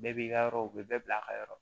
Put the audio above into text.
Bɛɛ b'i ka yɔrɔw u bɛ bɛɛ bila a ka yɔrɔ la